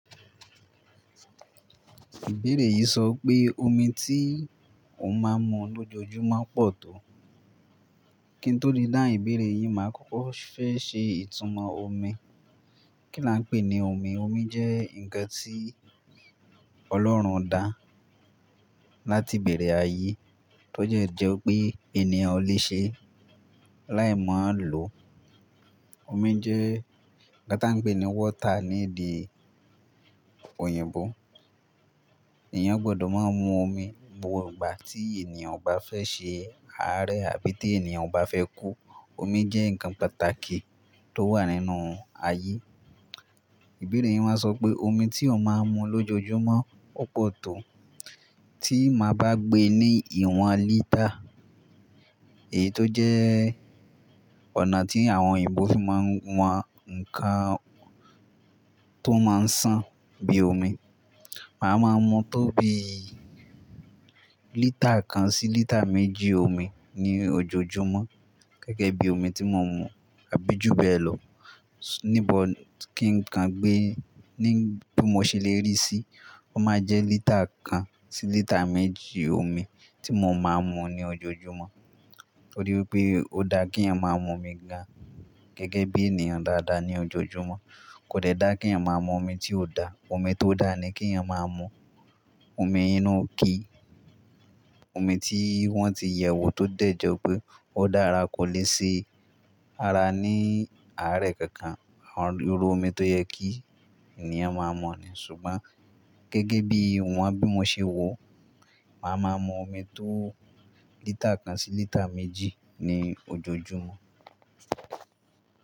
Ìbéèrè yìí sọ pé omi tí ò máa ń mu lójoojúmọ́ pọ̀ tó. Kí n tó le dáhun ìbéèrè yìí, màá kókó fẹ́ ṣe ìtumọ̀ omi. Kí là ń pè ní omi? Omi jẹ́ ǹkan tí Ọlọ́run dá láti ìbẹ̀rẹ̀ ayé tó jẹ́ jẹ́ pé ènìyàn o lè ṣe láì mọ ń lò. Omi jẹ́ nnkan táa ń pè ní water ní èdè òyìnbó. Ènìyàn gbọdọ̀ máa ń mu omi gbogbo ìgbà tí ènìyàn bá fẹ́ ṣe ara rẹ̀ àbí tí ènìyàn bá fẹ́ kú. Omi jẹ́ ǹkan pàtàkì tó wà nínú ayé. Ìbéèrè yìí máa sọ pé omi tí ò máa ń mu lójoojúmọ́ pọ̀ tó. Tí màá bá gbe ní ìwọ̀n lítà, èyí tó jẹ́ ọ̀nà tí àwọn òyìnbó fi máa ń wọn ǹkan tó máa ń sàn bí i omi. Màá ma mu tó bí lítà kan sí lítà méjì omi ní ojoojúmọ́ gẹ́gẹ́ bí omi tí mò ń mu àbí jù bẹ́ẹ̀ lọ. Níbo kí n kàn gbé ní bí mo ṣe lè rí sí, ó máa jẹ́ lítà kan sí lítà méjì omi tí mò ń máa ń mu ní ojoojúmọ́. Ó rí wí pé ó dáa kí ènìyàn máa mu omi gan gẹ́gẹ́ bí ènìyàn dáadáa ní ojoojúmọ́. Kò dẹ́ dáa kí ènìyàn máa mu omi tí ò da. Omi tó dáa ni kí ènìyàn máa mú. Omi inú ki, omi tí wọ́n ti yẹ̀wò tó dẹ̀jẹ́ pé ó dára kò lè ṣe ara ní àárẹ̀ kankan. Àwọn irú omi tó yẹ kí ènìyàn máa mú ni. Ṣùgbọ́n gẹ́gẹ́ bí ìwọ̀n bí mo ṣe wò, màá ma mu omi tó lítà kan sí lítà méjì ní ojoojúmọ́.